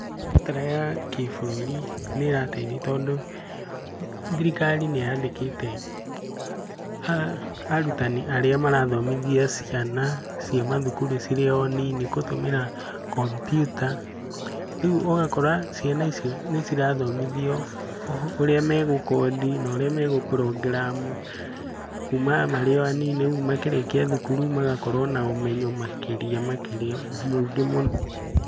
Mĩtaratara ya kĩbũrũri nĩ ĩrateithia, tondũ thirikari nĩ yandĩkĩte arutani arĩa marathomithia ciana cia mathukuru cirĩ o nini gũtũmĩra kompiuta. Rĩu ũgakora ciana icio nĩ cirathomithio ũrĩa megũkondi na ũrĩa megũ program -u kuma marĩ o a nini, ũguo makĩrĩkia thukuru magakorwo na ũmenyo makĩria.